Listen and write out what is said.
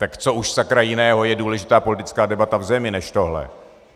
Tak co už, sakra, jiného je důležitá politická debata v zemi než tohle?